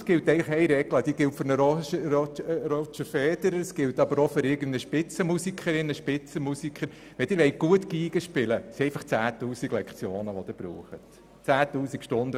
Es gibt eine Regel, die sowohl für Roger Federer wie für eine Spitzenmusikerin oder einen Spitzenmusiker gilt: Wenn Sie gut Geige spielen wollen, brauchen Sie dazu 10 000 Stunden Training.